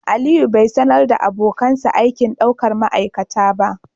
Aliyu bai sanar da abokansa aikin daukar ma'aikata ba